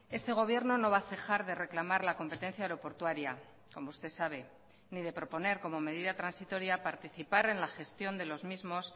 este gobierno no va a cejar de reclamar la competencia aeroportuaria como usted sabe ni de proponer como medida transitoria participar en la gestión de los mismos